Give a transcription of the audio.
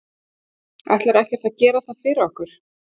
Ætlarðu ekkert að gera það fyrir okkur?